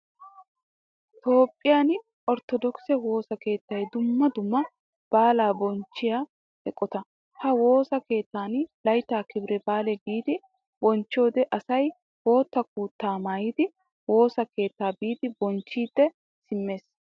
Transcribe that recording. Toophphiyaan orttodokise woosaa keettay dumma dumma baalaa bonchchiya eqqotta. Ha woosaa keettan laytta kibire baala giidi bonchchiyode asay boottaa kuta maayidi woosaa keetta biidi bonchchidi simmees.